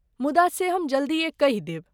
मुदा से हम जल्दीए कहि देब।